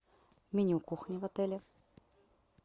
меню кухни в отеле